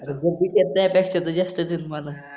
आता ज्यास्त त ज्यास्तेच मला